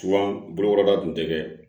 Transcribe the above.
bolokɔrɔda tun tɛ kɛ